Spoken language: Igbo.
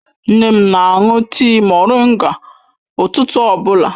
Nne m na-aṅụ tịị moringa ụtụtụ ọbụla.